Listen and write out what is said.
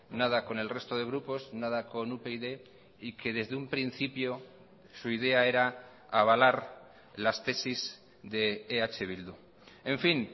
nada con el resto de grupos nada con upyd y que desde un principio su idea era avalar las tesis de eh bildu en fin